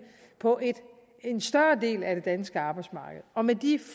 på en større del af det danske arbejdsmarked og med de